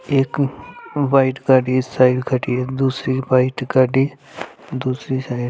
एक व्हाइट गाड़ी इस साइड खड़ी है दूसरी व्हाइट गाड़ी दूसरी साइड --